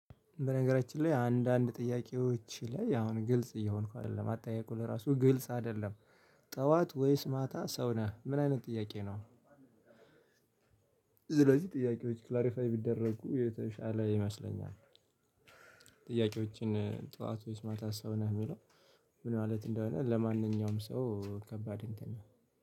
በነገራችን ላይ አንዳንድ ጥያቄዎች ላይ አሁን ግልጽ እየሆንኩ አይደለም አትጠየቁ ለራሱ ግልጽ አይደለም ጠዋት ወይስ ማታ ሰው ነህ ምን አይነት ጥያቄ ነው? ስለዚህ ጥያቄዎች ክላሪፋይ ቢደረጉ የተሻለ ይመስለኛል። ጥያቄዎችን ጠዋት ወይስ ማታ ሰው ነህ የሚለው? ምን ማለት እንደሆነ ለማንኛውም ሰው ከባድ እንትን ነህ